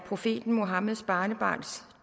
profeten muhammeds barnebarns